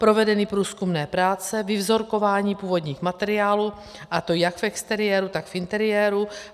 Provedeny průzkumné práce, vyvzorkování původních materiálů, a to jak v exteriéru, tak v interiéru.